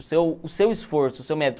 O seu o seu esforço, o seu